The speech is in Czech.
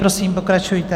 Prosím, pokračujte.